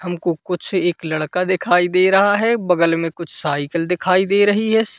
हमको कुछ एक लड़का दिखाई दे रहा है बगल मे कुछ साइकल दिखाई दे रही है।